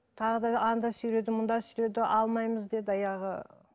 тағы да анда сүйреді мында сүйреді алмаймыз деді аяғы